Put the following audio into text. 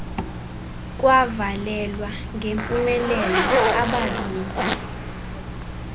kwavalelwa ngempumelelo ababini